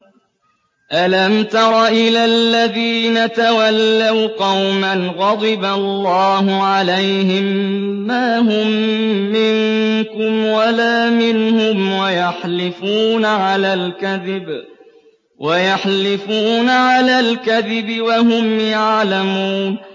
۞ أَلَمْ تَرَ إِلَى الَّذِينَ تَوَلَّوْا قَوْمًا غَضِبَ اللَّهُ عَلَيْهِم مَّا هُم مِّنكُمْ وَلَا مِنْهُمْ وَيَحْلِفُونَ عَلَى الْكَذِبِ وَهُمْ يَعْلَمُونَ